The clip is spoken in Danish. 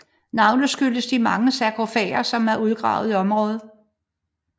Navnet skyldes de mange sargofager som er udgravet i området